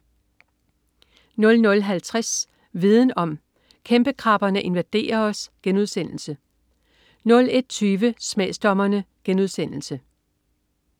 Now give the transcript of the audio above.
00.50 Viden om: Kæmpekrabberne invaderer os* 01.20 Smagsdommerne*